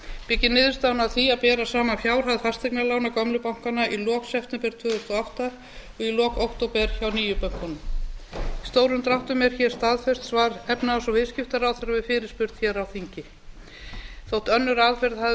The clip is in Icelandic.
byggir niðurstaðan á því að bera saman fjárhag fasteignalána gömlu bankanna í lok september tvö þúsund og átta og í lok október hjá nýju bönkunum í stórum dráttum er staðfest efnahags og viðskiptaráðherra við fyrirspurn hér á þingi þó önnur aðferð hafi verið notuð til að